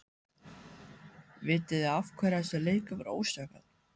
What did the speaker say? Vitiði af hverju þessi leikur var ósanngjarn?